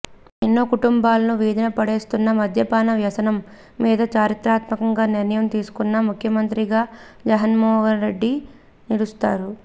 ఇక ఎన్నో కుటుంబాలను వీధిన పడేస్తున్న మద్యపాన వ్యసనం మీద చారిత్రాత్మకమైన నిర్ణయం తీసుకున్న ముఖ్యమంత్రిగా జగన్మోహన్రెడ్డి నిలుస్తారు